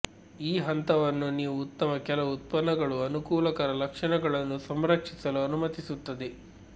ಈ ಹಂತವನ್ನು ನೀವು ಉತ್ತಮ ಕೆಲವು ಉತ್ಪನ್ನಗಳು ಅನುಕೂಲಕರ ಲಕ್ಷಣಗಳನ್ನು ಸಂರಕ್ಷಿಸಲು ಅನುಮತಿಸುತ್ತದೆ